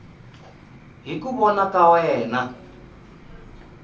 hi ku vona ka wena